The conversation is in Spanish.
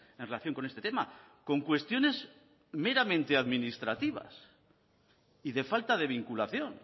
en relación con este tema con cuestiones meramente administrativas y de falta de vinculación